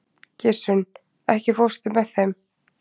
Gissunn, ekki fórstu með þeim?